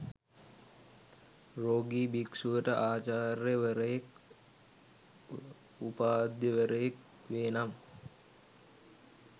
රෝගි භික්ෂුවට ආචාර්ය වරයෙක් උපාධ්‍යවරයෙක් වේ නම්